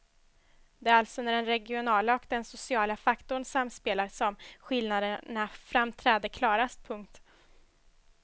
Det är alltså när den regionala och den sociala faktorn samspelar som skillnaderna framträder klarast. punkt